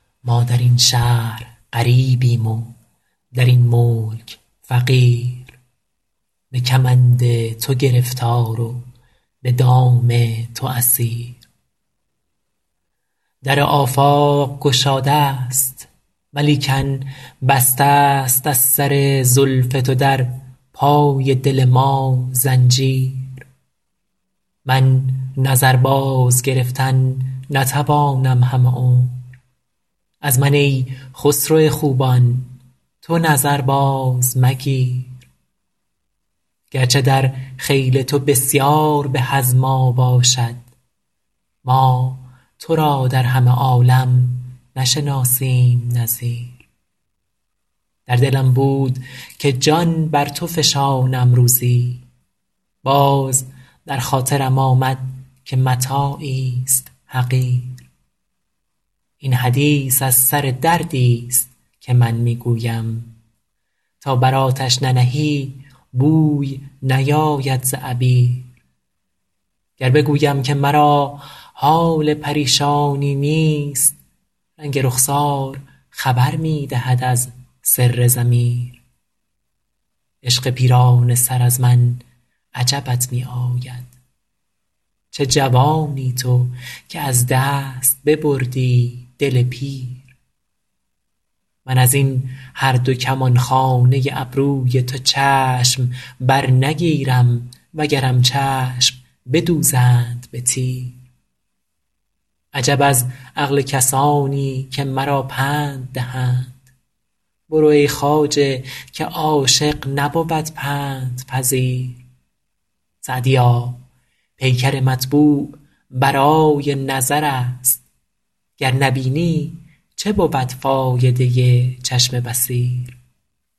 ما در این شهر غریبیم و در این ملک فقیر به کمند تو گرفتار و به دام تو اسیر در آفاق گشاده ست ولیکن بسته ست از سر زلف تو در پای دل ما زنجیر من نظر بازگرفتن نتوانم همه عمر از من ای خسرو خوبان تو نظر بازمگیر گرچه در خیل تو بسیار به از ما باشد ما تو را در همه عالم نشناسیم نظیر در دلم بود که جان بر تو فشانم روزی باز در خاطرم آمد که متاعیست حقیر این حدیث از سر دردیست که من می گویم تا بر آتش ننهی بوی نیاید ز عبیر گر بگویم که مرا حال پریشانی نیست رنگ رخسار خبر می دهد از سر ضمیر عشق پیرانه سر از من عجبت می آید چه جوانی تو که از دست ببردی دل پیر من از این هر دو کمانخانه ابروی تو چشم برنگیرم وگرم چشم بدوزند به تیر عجب از عقل کسانی که مرا پند دهند برو ای خواجه که عاشق نبود پندپذیر سعدیا پیکر مطبوع برای نظر است گر نبینی چه بود فایده چشم بصیر